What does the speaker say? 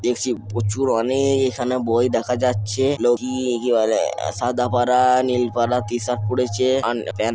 দেখছি প্রচুর অনেক এখানে বই দেখা যাচ্ছে। লোএকি বলে সাদা পারা নীল পারা টি-শার্ট পড়েছে আন প্যান্ট--